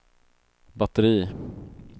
batteri